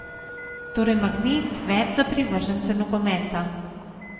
Torej magnet več za privržence nogometa.